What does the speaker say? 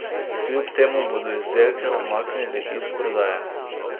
Kljub temu bodo izdelke umaknili iz prodaje.